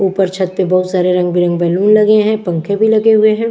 ऊपर छत पे बहुत सारे रंग-बिरंग बैलून लगे हैं पंखे भी लगे हुए हैं।